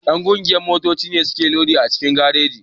Ƴan ƙungiyar motoci ne suke lodi a cikin gareji.